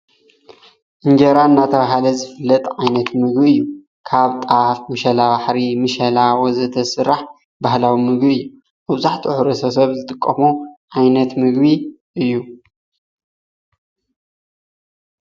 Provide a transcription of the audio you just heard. እንጀራ እናተብሃለ ዝፍለጥ ዓይነት ምግቢ እዩ። ካብ ጣፍ ፣ መሽለባሕሪ፣ ምሸላ ወዘተ ዝስራሕ ባህላዊ ምግቢ እዩ። መብዛሕትኡ ሕብረተሰብ ዝጥቀሞ ዓይነት ምግቢ እዩ።